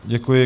Děkuji.